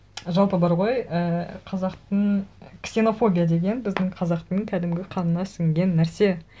жалпы бар ғой і қазақтың ксенофобия деген біздің қазақтың кәдімгі қанына сінген нәрсе